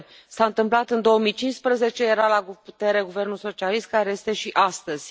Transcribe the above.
S a întâmplat în 2015, era la putere guvernul socialist, care este și astăzi.